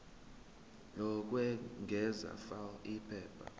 lokwengeza fal iphepha